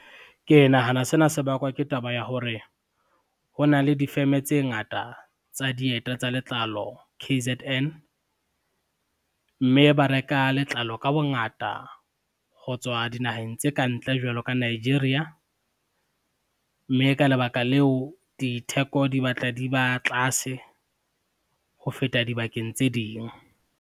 Ke nahana sena se bakwa ke taba ya hore, ho na le difeme tse ngata tsa dieta tsa letlalo K_Z_N, mme ba reka letlalo ka bongata ho tswa dinaheng tse ka ntle jwalo ka Nigeria, mme ka lebaka leo, ditheko di batla di ba tlase ho feta dibakeng tse ding.